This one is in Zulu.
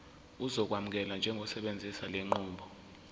uzokwamukelwa njengosebenzisa lenqubo